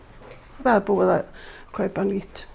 það er búið að kaupa nýtt